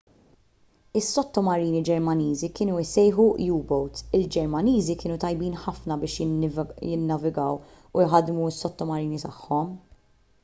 is-sottomarini ġermaniżi kienu jissejħu u-boats il-ġermaniżi kienu tajbin ħafna biex jinnavigaw u jħaddmu s-sottomarini tagħhom